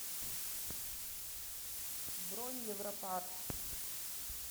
бронь европак